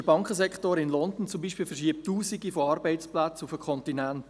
Der Bankensektor in London zum Beispiel verschiebt Tausende von Arbeitsplätzen auf den Kontinent.